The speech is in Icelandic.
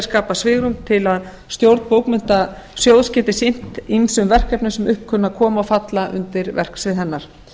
skapað svigrúm til að stjórn bókmenntasjóðs geti sinnt ýmsum verkefnum sem upp kunna að koma og falla undir verksvið hennar